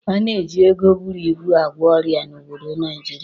A na-eji ego búrú ịbù agwọ ọrịa n'obodo Naijiria.